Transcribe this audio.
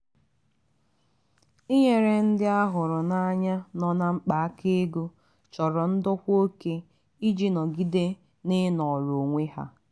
inyere ndị a hụrụ n'anya nọ na mkpa aka ego chọrọ ndokwa oke iji nọgide n'inọrọ onwe ha.